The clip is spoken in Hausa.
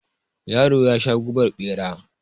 Yaron yasha gubar bera.